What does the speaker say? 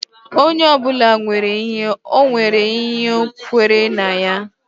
Onye ọbụla nwere ihe ọ nwere ihe o kwenyere na ya